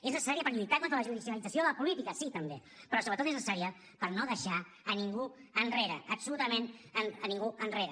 és necessària per lluitar contra la judicialització de la política sí també però sobretot és necessària per no deixar a ningú enrere absolutament a ningú enrere